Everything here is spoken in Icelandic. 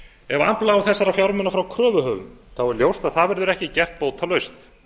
ef afla á þessara fjármuna frá kröfuhöfum er að það verður ekki gert bótalaust